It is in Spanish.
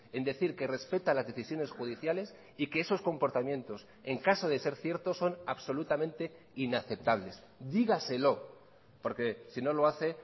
en decir que respeta las decisiones judiciales y que esos comportamientos en caso de ser ciertos son absolutamente inaceptables dígaselo porque si no lo hace